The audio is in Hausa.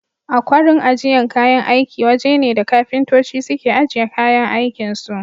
Akwarin ajiyan kayan aiki waje ne da kafintoci suke ajiye kayan aikin su.